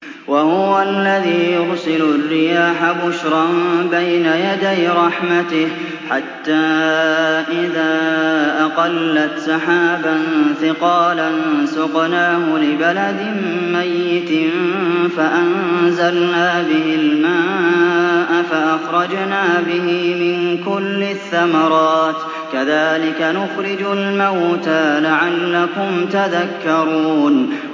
وَهُوَ الَّذِي يُرْسِلُ الرِّيَاحَ بُشْرًا بَيْنَ يَدَيْ رَحْمَتِهِ ۖ حَتَّىٰ إِذَا أَقَلَّتْ سَحَابًا ثِقَالًا سُقْنَاهُ لِبَلَدٍ مَّيِّتٍ فَأَنزَلْنَا بِهِ الْمَاءَ فَأَخْرَجْنَا بِهِ مِن كُلِّ الثَّمَرَاتِ ۚ كَذَٰلِكَ نُخْرِجُ الْمَوْتَىٰ لَعَلَّكُمْ تَذَكَّرُونَ